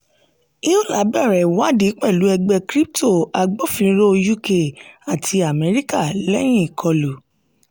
euler bẹ̀rẹ̀ ìwádìí pẹ̀lú ẹgbẹ́ crypto agbófinró uk àti amẹríkà lẹ́yìn ìkọlù.